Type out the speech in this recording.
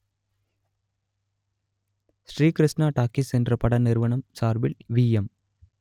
Sri Krishna talkies என்ற பட நிறுவனம் சார்பில் விஎம்